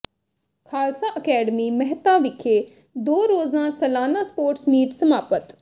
Khalsa academy Mehta ਵਿਖੇ ਦੋ ਰੋਜ਼ਾ ਸਾਲਾਨਾ ਸਪੋਰਟਸ ਮੀਟ ਸਮਾਪਤ